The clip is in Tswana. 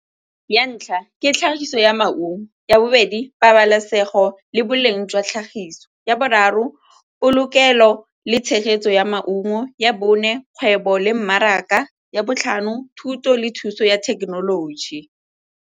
Ya ntlha, ke tlhagiso ya maungo. Ya bobedi, pabalesego le boleng jwa tlhagiso. Ya boraro, polokelo le tshegetso ya maungo. Ya bone, kgwebo le mmaraka. Ya botlhano, thuto le thuso ya thekenoloji.